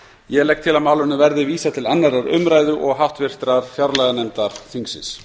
ég legg til að málinu verði vísað til annarrar umræðu og háttvirtrar fjárlaganefndar þingsins